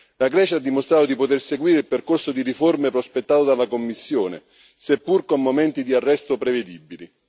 La Grecia ha dimostrato di poter seguire il percorso di riforme prospettato dalla Commissione, seppur con momenti di arresto prevedibili.